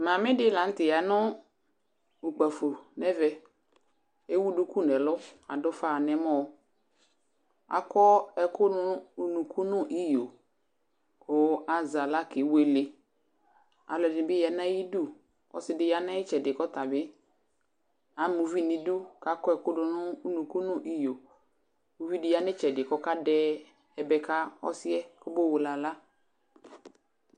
mamidi lanuteyanu ukpafo neme ewunuku adufanemo akoeku dunu unuku nuiyo kuazeavla kevle aloediya nayidu edibiya nayitsedi amauvinidu akoeku dunu unuku nuiyo edibiyanitsedi ayoebe kakaosie owele avla